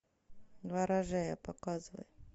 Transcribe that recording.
ворожея показывай